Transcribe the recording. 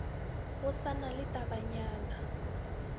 go sa na le tabanyana